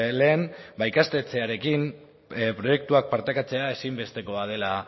lehen ba ikastetxearekin proiektuak partekatzea ezinbestekoa dela